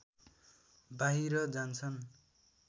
बाहिर जान्छन्